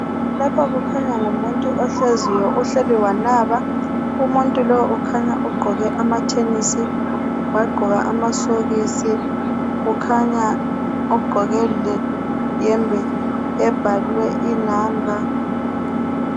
Lapha kukhanya ngumuntu ohleziyo uhleli wanaba umuntu lo ukhanya uqoke amathenisi waqoka amasokisi kukhanya uqoke le hembe ebhalwe inamba.